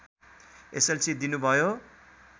SLC दिनुभयो